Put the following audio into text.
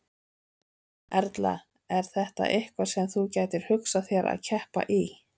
Erla: Er þetta eitthvað sem þú gætir hugsað þér að keppa í?